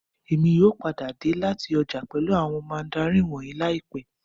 Èmi yóò padà dé láti ọjà pẹ̀lú àwọn mandarini wọ̀nyìí láìpẹ́